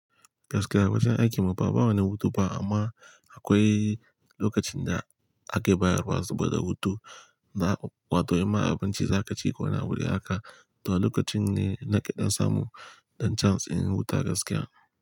Gaskiya awajen aikin mu fa bawani hutu fa amma akwai lokacin da ake bayarwa saboda hutu. Na, wato in ma abinci za ka ci ko wani abu de haka, to a lokacin ne nake dam samu ɗan chance in huta gaskiya.